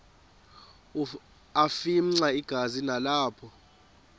afimxa igazi nalapho